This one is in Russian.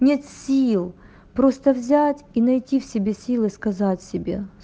нет сил просто взять и найти в себе силы сказать себе